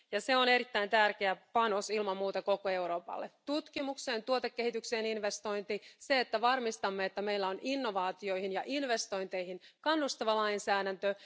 Se on erittäin tärkeä panos ilman muuta koko Euroopalle tutkimukseen ja tuotekehitykseen investointi, ja se, että varmistamme, että meillä on innovaatioihin ja investointeihin kannustava lainsäädäntö.